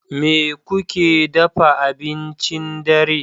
Me kuke dafa abincin dare?